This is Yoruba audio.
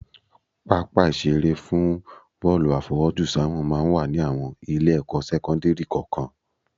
Pápá ìṣeré fún bọ́ọ̀lù àfọwọ́jùsáwọ̀n máa ń wà ní àwọn Ilé-ẹ̀kọ́ sẹ́kọ́ńdìrì kọ̀ọ̀kan